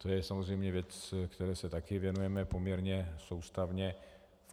To je samozřejmě věc, které se také věnujeme poměrně soustavně.